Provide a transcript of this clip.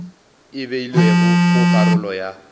e beilwego go karolo ya